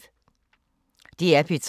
DR P3